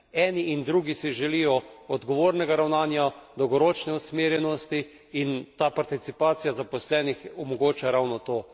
Eni in drugi si želijo odgovornega ravnanja, dolgoročne usmerjenosti in ta participacija zaposlenih omogoča ravno to.